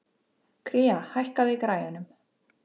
Kría, hækkaðu í græjunum.